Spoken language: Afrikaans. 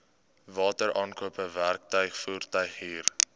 wateraankope werktuig voertuighuur